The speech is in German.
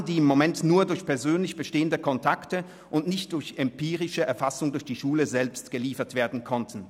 Es sind Zahlen, die im Moment nur durch persönliche Kontakte und nicht durch empirische Erfassung durch die Schule selbst geliefert werden konnten.